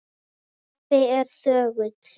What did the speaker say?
Og pabbi er þögull.